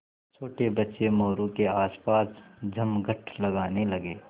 छोटे बच्चे मोरू के आसपास जमघट लगाने लगे